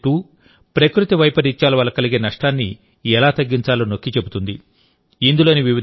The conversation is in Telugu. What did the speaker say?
బయోవిలేజ్ 2 ప్రకృతి వైపరీత్యాల వల్ల కలిగే నష్టాన్ని ఎలా తగ్గించాలో నొక్కి చెబుతుంది